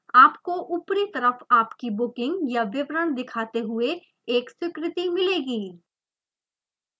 आपको ऊपरी तरफ आपकी बुकिंग का विवरण दिखाते हुए एक स्वीकृति मिलेगी